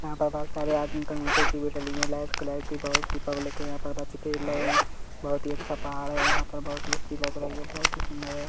यहाँ पर बहुत सारे आदमी खड़े है कुर्सी भी डली है लेस क्लैट भी बहुत सी दीपा बच्चे खेल रहे है बहुत ही अच्छा पहाड़ है यहाँ पर बहुत ही अच्छा लग रही है बहुत ही सुंदर हैं।